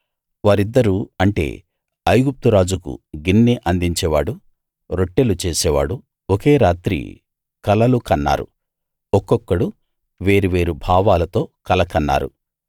వారిద్దరూ అంటే ఐగుప్తు రాజుకు గిన్నె అందించేవాడు రొట్టెలు చేసేవాడు ఒకే రాత్రి కలలు కన్నారు ఒక్కొక్కడు వేరు వేరు భావాలతో కల కన్నారు